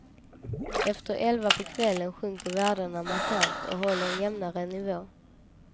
Efter elva på kvällen sjunker värdena markant och håller en jämnare nivå.